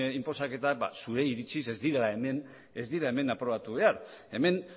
inposaketak zuen iritziz ez dira hemen aprobatu behar hemen